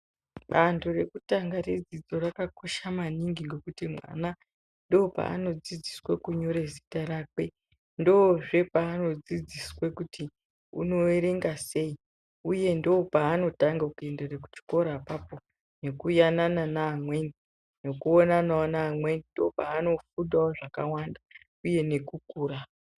Bando rekutanga redzidzo rakakosha maningi ngekuti mwana ndopaanodzidziswe kunyore zita rakwe. Ndozve paanodzidziswa kuti unoerenga sei uye ndopaanotanga kuindira kuchikora apapo, nekuyanana neamweni, nekuonanawo neamweni, ndopaanofunda wo zvakawanda uye nekukura.